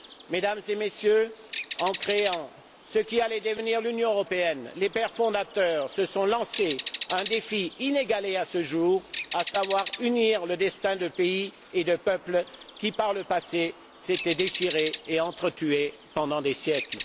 Mesdames et Messieurs, en créant ce qui allait devenir l'Union européenne, les pères fondateurs se sont lancé un défi inégalé à ce jour, à savoir unir le destin de pays et de peuples qui, par le passé, s'étaient déchirés et entre tués pendant des siècles.